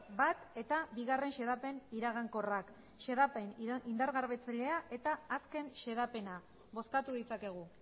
bat eta bigarren xedapen iragankorrak xedapen indargabetzailea eta azken xedapena bozkatu ditzakegu